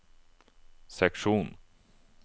seksjon